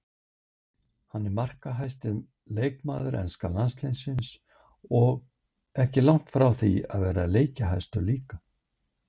Hann er markahæsti leikmaður enska landsliðsins og ekki langt frá því að vera leikjahæstur líka.